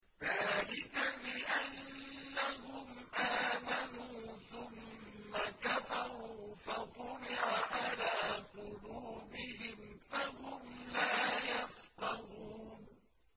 ذَٰلِكَ بِأَنَّهُمْ آمَنُوا ثُمَّ كَفَرُوا فَطُبِعَ عَلَىٰ قُلُوبِهِمْ فَهُمْ لَا يَفْقَهُونَ